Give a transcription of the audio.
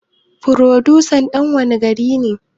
Furodusan dan wanne gari ne?